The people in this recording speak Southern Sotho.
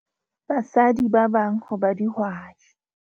Basadi ba bang ho ba dihwai.